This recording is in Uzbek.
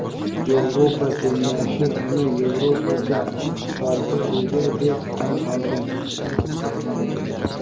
Yevropa Kengashi uni "Yevropacha istiqbolga ega" deb tan olgan.